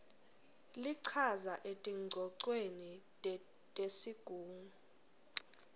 lichaza etingcocweni tesigungu